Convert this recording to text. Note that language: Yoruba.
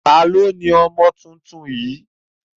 Ta ni ó ni ọmọ tuntun yìí?